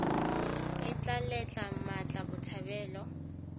e tla letla mmatla botshabelo